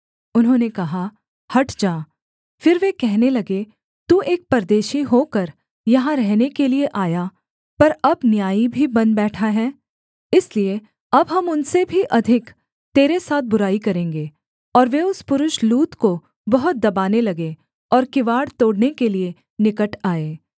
उन्होंने कहा हट जा फिर वे कहने लगे तू एक परदेशी होकर यहाँ रहने के लिये आया पर अब न्यायी भी बन बैठा है इसलिए अब हम उनसे भी अधिक तेरे साथ बुराई करेंगे और वे उस पुरुष लूत को बहुत दबाने लगे और किवाड़ तोड़ने के लिये निकट आए